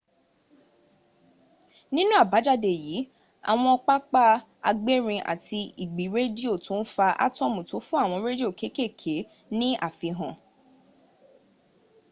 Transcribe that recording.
nínú àbájáde yìí àwọn pápá agbérin àti ìgbì rádíò tó ń fa átọ̀mù tó fún àwọn rádìò kéèkèé ní àfihàn